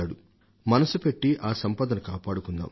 కాస్త మనసు పెట్టి ఆ సంపదను కాపాడుకుందాం